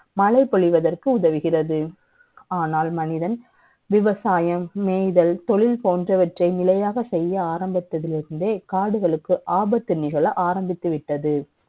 மழை ப ொழிவதற்கு உதவுகிறது. ஆனால், மனிதன். விவசாயம், நெ ய்தல், த ொழில் ப ோன்றவற்றை நிலை யாக செ ய்ய ஆரம்பித்ததிலிருந்தே, காடுகளுக்கு ஆபத்து நிகழ ஆரம்பித்து விட்டது